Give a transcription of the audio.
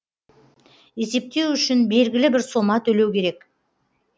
есептеу үшін белгілі бір сома төлеу керек